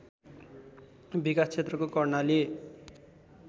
विकास क्षेत्रको कर्णाली